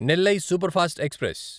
Nellai superfast express